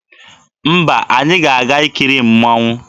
Mba, anyị ga-aga ikiri mmanwụ.